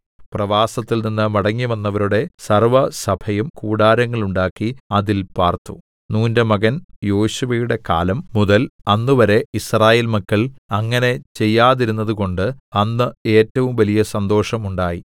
പ്രവാസത്തിൽനിന്ന് മടങ്ങിവന്നവരുടെ സർവ്വസഭയും കൂടാരങ്ങൾ ഉണ്ടാക്കി അതിൽ പാർത്തു നൂന്റെ മകൻ യോശുവയുടെ കാലം മുതൽ അന്നുവരെ യിസ്രായേൽ മക്കൾ അങ്ങനെ ചെയ്യാതിരുന്നതുകൊണ്ട് അന്ന് ഏറ്റവും വലിയ സന്തോഷം ഉണ്ടായി